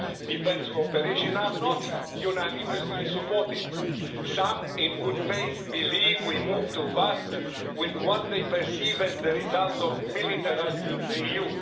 defence cooperation, are not unanimously supported. Some, in good faith, believe we move too fast, with what they perceive as the result of militarising the EU.